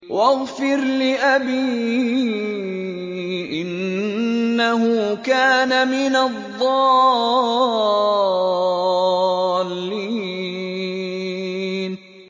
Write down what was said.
وَاغْفِرْ لِأَبِي إِنَّهُ كَانَ مِنَ الضَّالِّينَ